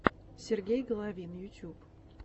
сергей головин ютюб